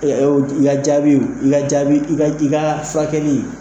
Ɛ ɛ i ya jaabi i ya jaabi i ka i ka furakɛli